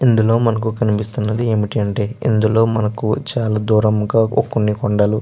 ఇందులో మనకు కనిపిస్తున్నది ఏమిటి అంటే ఇందులో మనకు చాలా దూరంగా ఒక్ కొన్ని కొండల్లు --